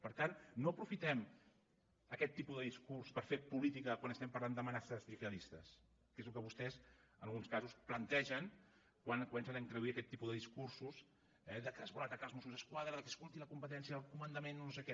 per tant no aprofitem aquest tipus de discurs per fer política quan estem parlant d’amenaces gihadistes que és el que vostès en alguns casos plantegen quan comencen a introduir aquest tipus de discursos eh que es vol atacar els mossos d’esquadra que escolti la competència del comandament o no sé què